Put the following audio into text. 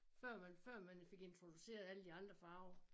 Før man før man fik introduceret alle de andre farver